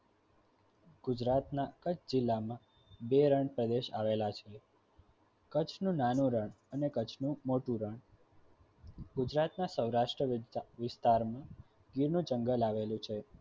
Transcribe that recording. ગુજરાતના કચ્છ જિલ્લામાં બે રણ પ્રદેશ આવેલા છે કચ્છનું નાનું રણ અને કચ્છ નું મોટું રણ ગુજરાતના સૌરાષ્ટ્ર વિસ્તારમાં ગીરનું જંગલ આવેલું છે.